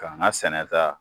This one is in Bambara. Ka ŋa sɛnɛta